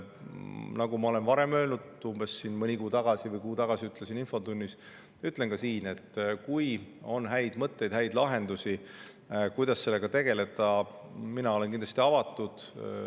Nagu ma olen varem öelnud – mõni kuu või kuu tagasi ütlesin infotunnis –, ütlen ka siin, et kui on häid mõtteid, häid lahendusi, kuidas sellega tegeleda, siis ma olen kindlasti avatud.